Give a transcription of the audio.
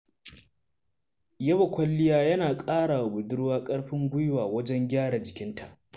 Yaba kwalliya yana ƙarawa budurwa ƙarfin guiwa wajen gyara jikinta.